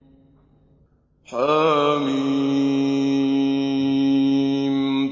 حم